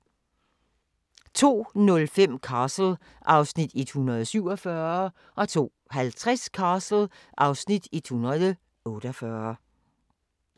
02:05: Castle (Afs. 147) 02:50: Castle (Afs. 148)